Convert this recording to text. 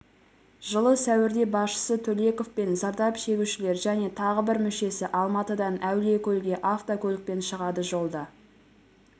жылы сәуірде басшысы төлеков пен зардап шегушілер және тағы бір мүшесі алматыдан әулиекөлге автокөлікпен шығады жолда